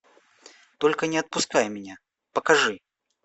только не отпускай меня покажи